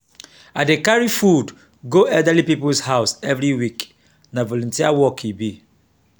i dey carry food go elderly people’s house every week na volunteer work e be